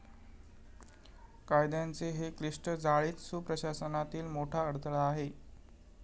कायद्यांचे हे क्लिष्ट जाळेच सुप्रशासनातील मोठा अडथळा आहे.